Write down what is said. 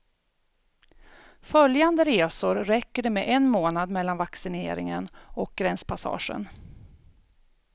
Följande resor räcker det med en månad mellan vaccineringen och gränspassagen.